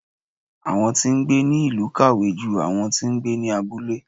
Awọn ti ń gbé ni ilu kàwé jú àwọn ti ń gbé ní abúlé